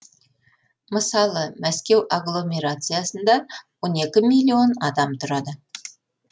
мысалы мәскеу агломерациясында он екі миллион адам тұрады